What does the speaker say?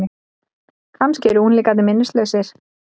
Kannski eru unglingar minnislausir?